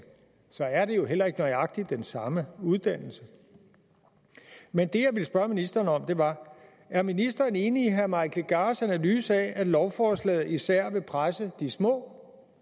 så er det jo heller ikke nøjagtig den samme uddannelse men det jeg ville spørge ministeren om var er ministeren enig i herre mike legarths analyse af at lovforslaget især vil presse de små